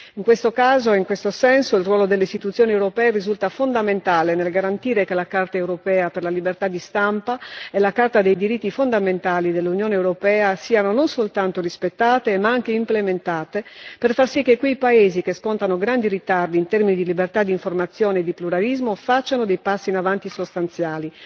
In questo caso e in questo senso il ruolo delle istituzioni europee risulta fondamentale nel garantire che la Carta europea per la libertà di stampa e la Carta dei diritti fondamentali dell'Unione europea siano non soltanto rispettate, ma anche implementate per far sì che quei paesi che scontano grandi ritardi in termini di libertà di informazione e di pluralismo compiano passi in avanti sostanziali.